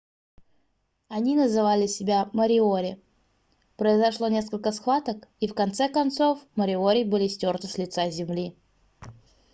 они называли себя мориори произошло несколько схваток и в конце концов мориори были стёрты с лица земли